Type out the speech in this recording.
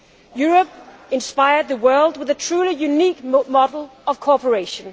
Europe inspired the world with a truly unique model of cooperation.